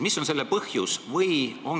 Mis on selle põhjus?